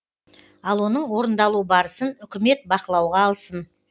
ал оның орындалу барысын үкімет бақылауға алсын